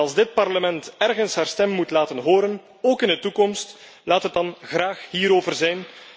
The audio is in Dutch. Als dit Parlement ergens haar stem moet laten horen, ook in de toekomst, laat het dan hierover zijn.